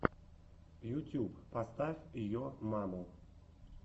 ютьюб поставь йо маму